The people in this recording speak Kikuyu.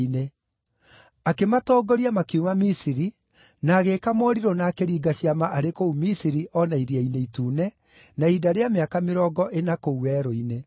Akĩmatongoria makiuma Misiri na agĩĩka morirũ na akĩringa ciama arĩ kũu Misiri, o na Iria-inĩ Itune, na ihinda rĩa mĩaka mĩrongo ĩna kũu werũ-inĩ.